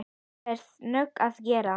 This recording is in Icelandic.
Nú færðu nóg að gera